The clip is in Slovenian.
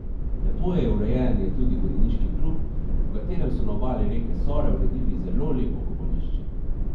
Lepo je urejen je tudi konjeniški klub, ob katerem so na obali reke Sore uredili zelo lepo kopališče.